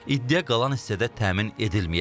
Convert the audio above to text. İddia qalan hissədə təmin edilməyib.